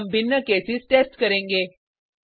अब हम भिन्न केसेस टेस्ट करेंगे